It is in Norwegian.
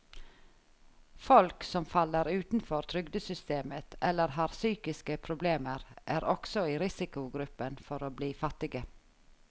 Folk som faller utenfor trygdesystemet eller har psykiske problemer, er også i risikogruppen for å bli fattige.